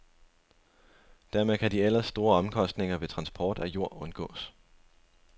Dermed kan de ellers store omkostninger ved transport af jord undgås.